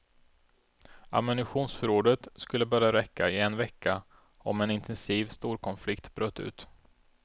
Ammunitionsförrådet skulle bara räcka i en vecka om en intensiv storkonflikt bröt ut.